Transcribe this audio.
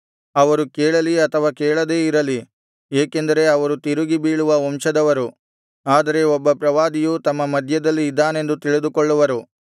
ಅವರು ಕೇಳಲಿ ಅಥವಾ ಕೇಳದೇ ಇರಲಿ ಏಕೆಂದರೆ ಅವರು ತಿರುಗಿ ಬೀಳುವ ವಂಶದವರು ಆದರೆ ಒಬ್ಬ ಪ್ರವಾದಿಯು ತಮ್ಮ ಮಧ್ಯದಲ್ಲಿ ಇದ್ದಾನೆಂದು ತಿಳಿದುಕೊಳ್ಳುವರು